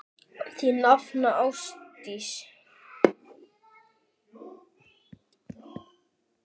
Þín nafna, Ásdís.